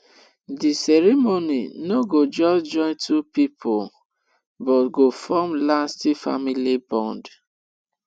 di ceremony no go just join two people but go form lasting family bond